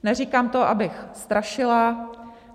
Neříkám to, abych strašila.